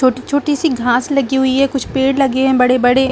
छोटी-छोटी सी घाँस लगी हुई है कुछ पेड़ लगे हैं बड़े बड़े --